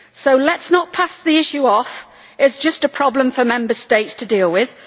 So let us not pass the issue off by saying it is just a problem for Member States to deal with.